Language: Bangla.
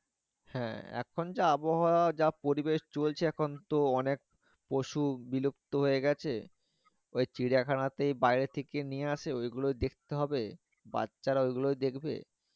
হ্যাঁ এখন যে আবহাওয়া যা পরিবেশ চলছে এখন তো অনেক পশু বিলুপ্ত হয়ে গেছে ঐ চিড়িয়া খানাতে বাহিরে থেক নিয়ে আসে ঐ গুলো দেখতে হবে বাচ্চারা ঐ গুলো দেখবে